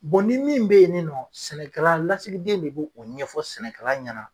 ni min bɛ ye ni nɔ sɛnɛkɛla lasigiden de b'o o ɲɛfɔ sɛnɛkala ɲɛna.